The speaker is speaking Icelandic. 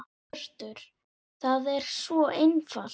Hjörtur: Það er svo einfalt?